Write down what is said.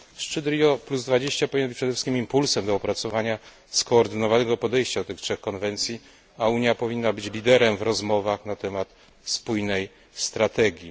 Szczyt Rio20 powinien być przede wszystkim impulsem do opracowania skoordynowanego podejścia do tych trzech konwencji, a Unia powinna być liderem w rozmowach na temat spójnej strategii.